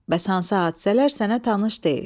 Bəs hansı hadisələr sənə tanış deyil?